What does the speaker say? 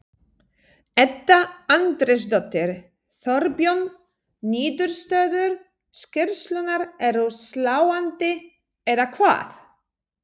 Edda Andrésdóttir: Þorbjörn, niðurstöður skýrslunnar eru sláandi, eða hvað?